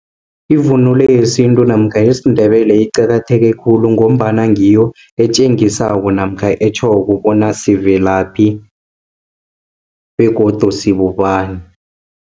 Ivunulo yesintu namkha yesindebele, iqakatheke khulu, ngombana ngiyo etjengisako, namkha etjhoko bona sivela kuphi, begodu sibobani.